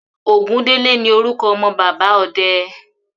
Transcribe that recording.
Ògúndélé ní orúkọ ọmọ bàbá ọde.